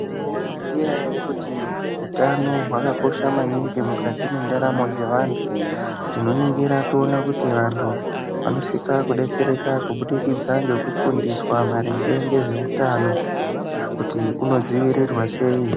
Mwai zviziya ere kuti utano hwaka kosha maningi mukati mwe ndaramo dze vantu tinoningira toona kuti vantu vanosisa kudetsereka kubudikidza ngeku fundiswa maringe nge zveutano kuti uno dzivirirwa sei.